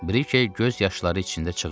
Brikey göz yaşları içində çığırdı.